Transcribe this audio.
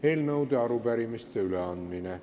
Eelnõude ja arupärimiste üleandmine.